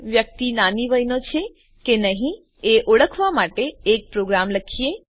વ્યક્તિ નાની વયનો છે કે નહી એ ઓળખવા માટેનો એક પ્રોગ્રામ લખીએ